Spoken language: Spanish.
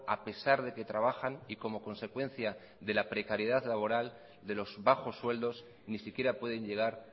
a pesar de que trabajan y como consecuencia de la precariedad laboral de los bajos sueldos ni siquiera pueden llegar